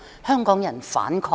"、"香港人，反抗！